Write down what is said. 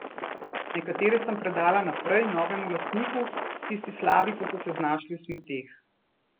Nekatere sem predala naprej, novemu lastniku, tisti slabi pa so se znašli v smeteh.